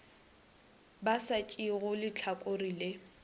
ba sa tšeego lehlakore le